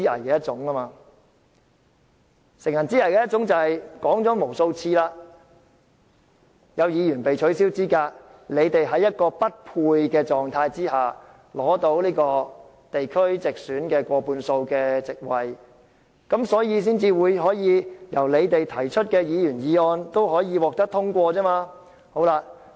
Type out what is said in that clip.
我說過無數次，"乘人之危"是指在有議員被取消資格後，令建制派在功能界別地區直選議席中均佔過半數，因此所提出的議案均可獲通過。